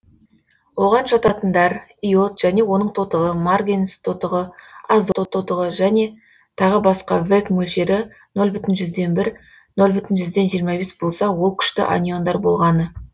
оған жататындар иод және оның тотығы марганец тотығы азот тотығы және тағы басқа вэк мөлшері нөл бүтін жүзден жиырма бір нөл бүтін жүзден жиырма бес болса ол күшті аниондар болғаны